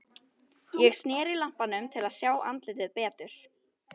Ég sneri lampanum til að sjá andlitið betur.